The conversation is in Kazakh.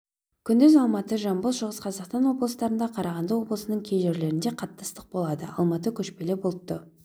күндіз алматы жамбыл шығыс қазақстан облыстарында қарағанды облысының кей жерлерінде қатты ыстық болады алматы көшпелі бұлтты